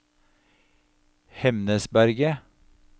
Hemnesberget